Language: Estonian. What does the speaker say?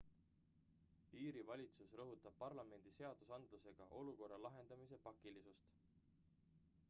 iiri valitsus rõhutab parlamendi seadusandlusega olukorra lahendamise pakilisust